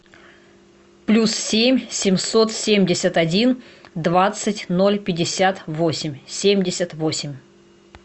плюс семь семьсот семьдесят один двадцать ноль пятьдесят восемь семьдесят восемь